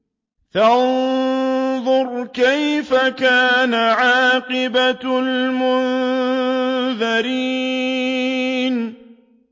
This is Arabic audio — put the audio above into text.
فَانظُرْ كَيْفَ كَانَ عَاقِبَةُ الْمُنذَرِينَ